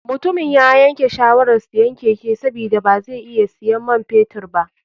Mutumin yayake shawarar siyan keke sabida bazai iya siyan man fetur ba.